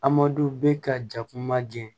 Adamadenw bɛ ka jakuma jɛ